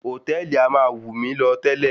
Hòtẹ́ẹ̀lì a máa wù mí lọ tẹ́lẹ̀.